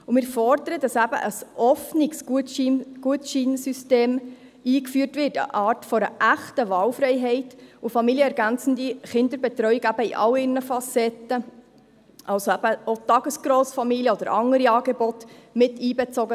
Wir fordern, dass ein offenes Gutscheinsystem eingeführt wird, welches eine echte Wahlfreiheit gewährleistet, und dass familienergänzende Kinderbetreuung in all ihren Facetten mit einbezogen werden soll, also auch Tagesgrossfamilien oder andere Angebote.